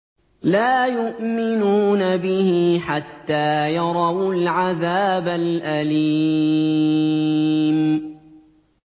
لَا يُؤْمِنُونَ بِهِ حَتَّىٰ يَرَوُا الْعَذَابَ الْأَلِيمَ